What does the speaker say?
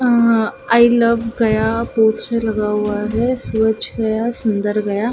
Uh I love Gaya poster लगा हुआ है स्वच्छ गया सुंदर गया।